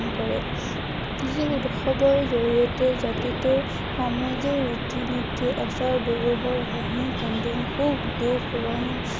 বিহু উৎসৱৰ জড়িয়তে জাতিটোৰ সমাজৰ ৰীতি নীতি, আচাৰ ব্য়ৱহাৰ, হাঁহি- কান্দোন , সুখ দুখ, ৰং